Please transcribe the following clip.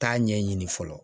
Taa ɲɛɲini fɔlɔ